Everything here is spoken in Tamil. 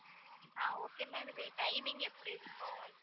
ஆஹ் okay ma'am இது timing எப்படி இருக்கும்.